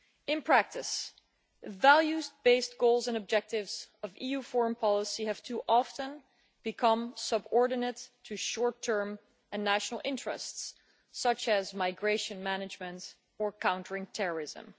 In practice, the values based goals and objectives of EU foreign policy have too often become subordinate to short term and national interests such as migration management or countering terrorism.